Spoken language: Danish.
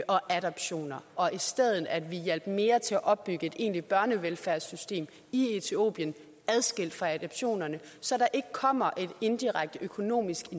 og adoptioner og i stedet hjalp mere til at opbygge et egentligt børnevelfærdssystem i etiopien adskilt fra adoptionerne så der ikke kommer et indirekte økonomisk